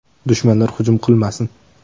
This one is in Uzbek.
Dushmanlar hujum qilmasin!